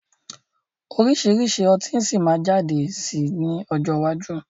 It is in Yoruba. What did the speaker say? Oríṣiríṣi ọtí si maa jáde sí ní ọjọ́ iwájú